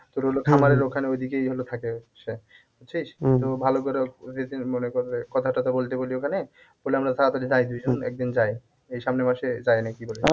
তোর হলো খামারের ওখানে ঐদিকেই হলো থাকে সে বুঝছিস? তো ভালো করে ও যদি মনে কর কথা তথা বলতে বলি ওখানে বলে আমরা তাড়াতাড়ি যাই দুইজন একদিন যাই এই সামনে বসে যাই নাকি কি বলিস?